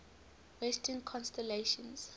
western constellations